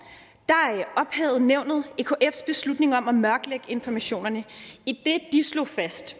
ophævede nævnet ekfs beslutning om at mørklægge informationerne idet de slog fast